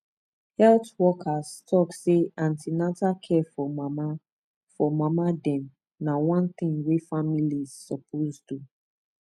health workers talk say an ten atal care for mama for mama dem na one thing wey families suppose do